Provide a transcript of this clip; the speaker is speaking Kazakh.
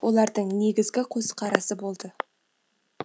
олардың негізгі көзқарасы болды